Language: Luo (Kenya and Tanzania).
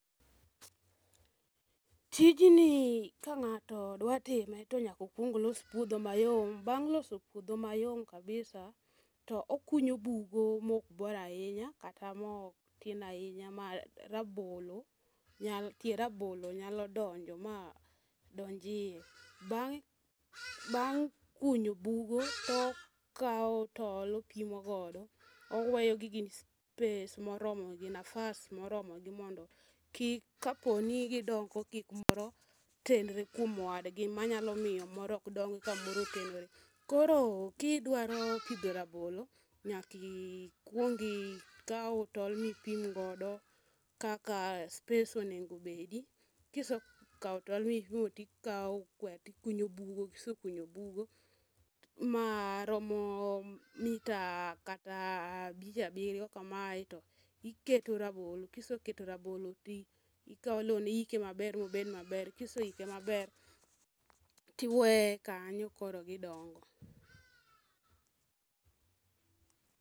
Tijni ka ng'ato dwa time tonyako los puodho mayom. Bang' oso puodho mayom kabisa to okunyo bugo mok bor ahinya kata mok tin ahinya ma rabolo nyal tie rabolo nyalo donje ma donj iye . Bang' bang' kunyo bugo okawo tol opimo godo owe space moromo gi nasaf moromo gi mondo kik kaponi gidongo kik moro tenre kuom wadgi manyalo miyo moro ok dongi ka moro otenore .Koro kidwaro pidho rabolo nyaki kuongi kaw tol mipim godo kaka space onego bedi kisekawo tol mipimo tikawo kwer tikunyo bugo maromo mita kata abich abiryo kamae tiketo rabolo kiseketo rabolo tikawo lewni iike maber mobed maber kiseike maber tiweye kanyo koro gidongo.